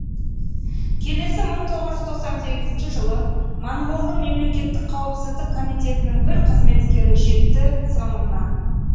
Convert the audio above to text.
келесі мың тоғыз жүз тоқсан сегізінші жылы моңғолдың мемлекеттік қауіпсіздік комитетінің бір қызметкері жетті соңымнан